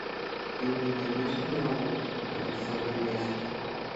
ты мне найдешь киноработу александр невский